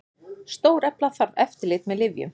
Stórefla þarf eftirlit með lyfjum